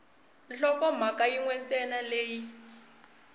nhlokomhaka yin we ntsena leyi